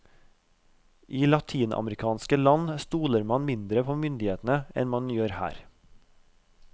I latinamerikanske land stoler man mindre på myndighetene enn man gjør her.